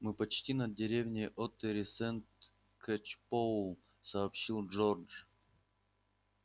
мы почти над деревней оттери-сент-кэчпоул сообщил джордж